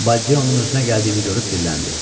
Baldeonun özünə gəldiyini görüb dilləndi.